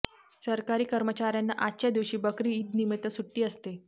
सरकारी कर्मचाऱ्यांना आजच्या दिवशी बकरी ईदनिमित्त सुट्टी असते